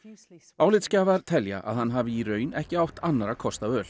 álitsgjafar telja að hann hafi í raun ekki átt annarra kosta völ